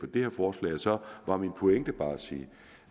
det her forslag så var min pointe bare at sige